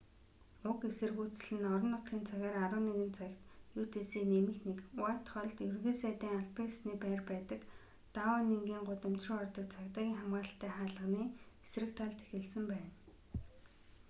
уг эсэргүүцэл нь орон нутгийн цагаар 11:00 цагт utc+1 уайтхоллд ерөнхий сайдын албан ёсны байр байдаг даунингийн гудамж руу ордог цагдаагийн хамгаалалттай хаалганы эсрэг талд эхэлсэн байна